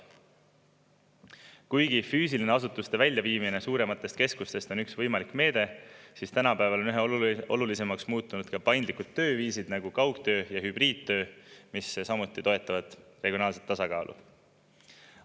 Kuigi füüsiline asutuste väljaviimine suurematest keskustest on üks võimalik meede, siis tänapäeval on üha olulisemaks muutunud ka paindlikud tööviisid nagu kaugtöö ja hübriidtöö, mis samuti toetavad regionaalset tasakaalu.